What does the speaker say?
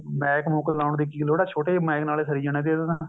ਮੈਕ ਮੂਕ ਲਾਉਣ ਦੀ ਕੀ ਲੋੜ ਹੈ ਛੋਟੇ ਜਿਹੇ ਮੈਕ ਨਾਲ ਸਰੀ ਜਾਣਾ ਸੀ ਇਹਦਾ ਤਾਂ